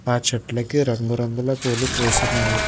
ఆ చెట్లకి రంగురంగుల పూలు పూస్తున్నవి.